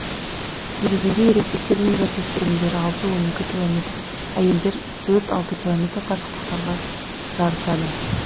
негізінде ересектер мен жас өспірімдер алты он екі километр әйелдер төрт алты километр қашықтықтарға жарысады